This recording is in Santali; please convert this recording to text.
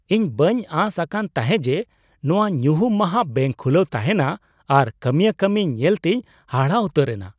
ᱤᱧ ᱵᱟᱹᱧ ᱟᱥ ᱟᱠᱟᱱ ᱛᱟᱦᱮᱸ ᱡᱮ ᱱᱚᱶᱟ ᱧᱩᱦᱩᱢ ᱢᱟᱦᱟ ᱵᱮᱝᱠ ᱠᱷᱩᱞᱟᱹᱣ ᱛᱟᱦᱮᱱᱟ ᱟᱨ ᱠᱟᱹᱢᱤᱭᱟᱹ ᱠᱟᱹᱢᱤ ᱧᱮᱞ ᱛᱤᱧ ᱦᱟᱦᱟᱲᱟᱜ ᱩᱛᱟᱹᱨ ᱮᱱᱟ ᱾